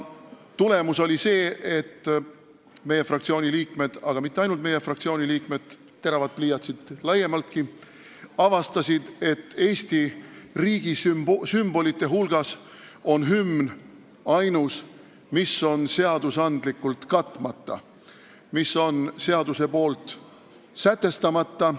Tulemus oli see, et meie fraktsiooni liikmed – aga mitte ainult meie fraktsiooni liikmed, teravad pliiatsid laiemaltki – avastasid, et Eesti riigi sümbolitest on hümn ainus, mis on seadusega katmata, seaduses sätestamata.